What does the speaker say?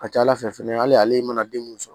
A ka ca ala fɛ fɛnɛ hali ale mana den mun sɔrɔ